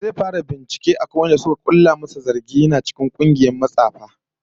Zai fara binciken wadanda suka makala masa zargin yana cikin kungiyar matsafa